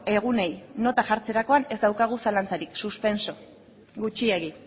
egunei nota jartzerakoan ez daukagu zalantzarik suspenso gutxiegi